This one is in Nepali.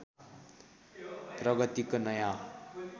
प्रगतिको नयाँ